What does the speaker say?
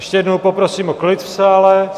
Ještě jednou poprosím o klid v sále.